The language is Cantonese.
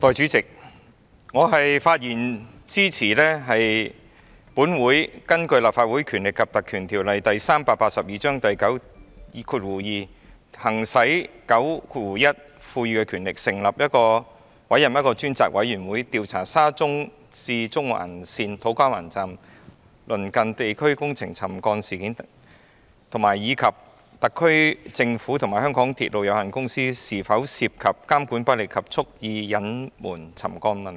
代理主席，我發言支持本會根據《立法會條例》第92條行使第91條賦予的權力，成立一個專責委員會，調查沙田至中環線土瓜灣站工程地盤鄰近地區出現的沉降事件，以及特區政府及香港鐵路有限公司是否涉及監管不力及蓄意隱瞞沉降問題。